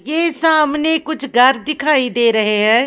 ये सामने कुछ घर दिखाई दे रहे हैं ।